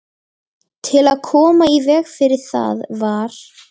Til að koma í veg fyrir það var